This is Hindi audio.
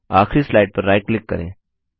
आखरी स्लाइड पर राइट क्लिक करें